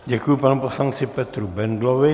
Děkuji panu poslanci Petru Bendlovi.